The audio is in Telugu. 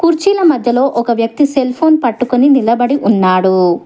కుర్చీల మధ్యలో ఒక వ్యక్తి సెల్ ఫోన్ పట్టుకుని నిలబడి ఉన్నాడు.